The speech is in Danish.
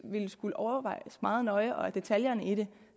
ville skulle overvejes meget nøje og at detaljerne i det